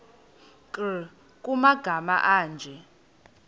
nkr kumagama anje